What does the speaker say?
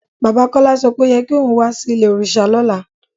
Baba Kọla sọ pé o yẹ̀ kí ọ̀un wà sí ilẹ̀-ọ̀rìṣà lọ́lá